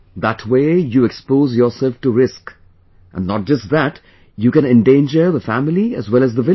That way, you expose yourself to risk; not just that, you can endanger the family as well as the village